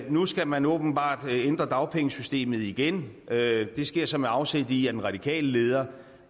nu skal man åbenbart ændre dagpengesystemet igen det sker så med afsæt i at den radikale leder